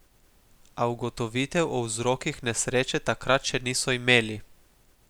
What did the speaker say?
A ugotovitev o vzrokih nesreče takrat še niso imeli.